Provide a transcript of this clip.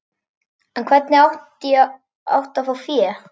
En hvernig átti að fá fé?